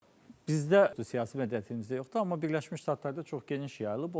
Bizdə xüsusi siyasi mədəniyyətimizdə yoxdur, amma Birləşmiş Ştatlarda çox geniş yayılıb.